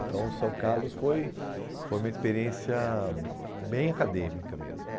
Então, São Carlos foi foi uma experiência bem acadêmica mesmo.